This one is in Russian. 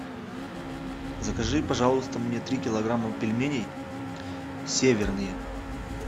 закажи пожалуйста мне три килограмма пельменей северные